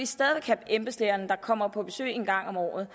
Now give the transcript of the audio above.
stadig væk have embedslægerne der kommer på besøg en gang om året